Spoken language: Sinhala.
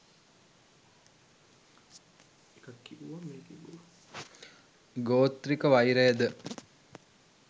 ගෝත්‍රික වෛරය ද